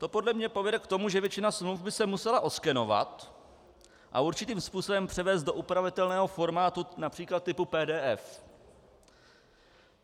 To podle mne povede k tomu, že většina smluv by se musela oskenovat a určitým způsobem převést do upravitelného formátu, například typu PDF.